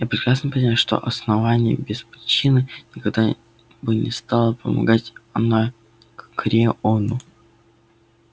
я прекрасно понимаю что основание без причин никогда бы не стало помогать анакреону